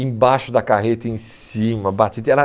Embaixo da carreta, em cima, batida. E era